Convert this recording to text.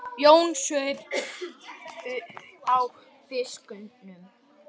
Jón saup á flöskunni.